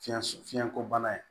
Fiɲɛ sɔ fiɲɛ ko bana ye